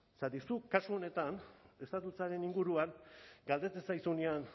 zergatik zu kasu honetan inguruan galdetzen zaizuenean